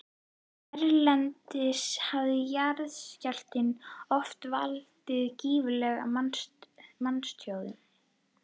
Erlendis hafa jarðskjálftar oft valdið gífurlegu manntjóni.